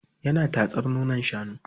Yana tatsar nonon shanu.